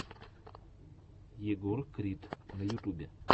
егор крид на ютубе